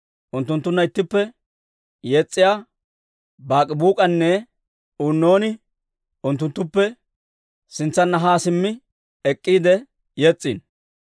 Unttunttunna ittippe yes's'iyaa Baak'ibuuk'enne Uunnon unttunttuppe sintsanna haa simmi ek'k'iide yes's'iino.